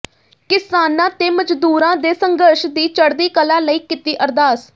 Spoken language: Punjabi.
ਕਿਸਾਨਾਂ ਤੇ ਮਜ਼ਦੂਰਾਂ ਦੇ ਸੰਘਰਸ਼ ਦੀ ਚੜ੍ਹਦੀ ਕਲਾ ਲਈ ਕੀਤੀ ਅਰਦਾਸ